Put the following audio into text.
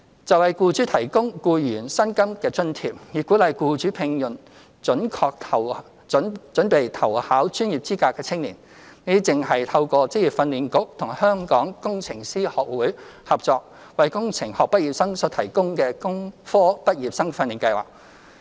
就為僱主提供僱員薪金津貼，以鼓勵僱主聘用準備投考專業資格的青年，這正是透過職業訓練局與香港工程師學會合作，為工程學畢業生所提供的工科畢業生訓練計劃。